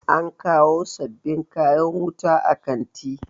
an kawo sababbin kayan wuta a kanti